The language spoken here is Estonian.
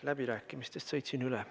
Läbirääkimistest sõitsin üle.